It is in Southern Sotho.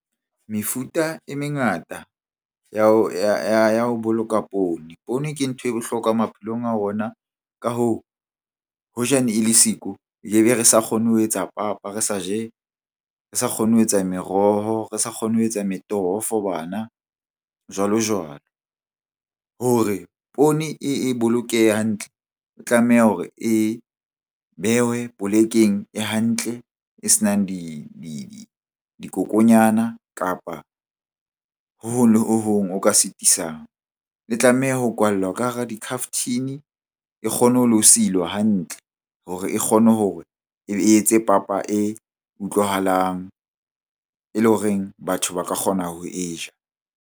Mefuta e mengata ya ho boloka poone. Poone ke nthwe bohlokwa maphelong a rona. Ka hoo, hoja ne e le siko re sa kgone ho etsa papa, re sa je, re sa kgone ho etsa meroho, re sa kgone ho etsa metoho for bana jwalo-jwalo. Hore poone e bolokehe hantle ho tlameha hore e behwe polekeng e hantle e senang dikokonyana kapa ho hong le ho hong ho ka sitisang. E tlameha ho kwallwa ka hara dikhaftine e kgone ho lo silwa hantle hore e kgone hore e etse papa e utlwahalang e leng horeng batho ba ka kgona ho e ja.